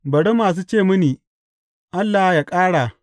Bari masu ce mini, Allah yă ƙara!